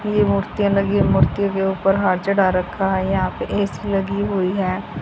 ये मूर्तिया लगी है मूर्तियों के ऊपर हार चढ़ा रखा है यहां पे ए_सी लगी हुई है।